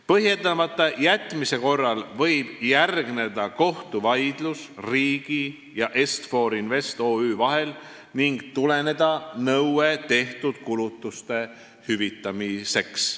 Põhjendamata jätmise korral võib järgneda kohtuvaidlus riigi ja Est-For Invest OÜ vahel ning tuleneda nõue tehtud kulutuste hüvitamiseks.